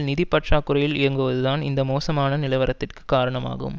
நிதி பற்றாக்குறையில் இயங்குவதுதான் இந்த மோசமான நிலவரத்திற்கு காரணமாகும்